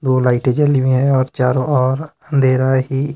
दो लाइटें जली हुई हैं और चारों ओर अंधेरा ही--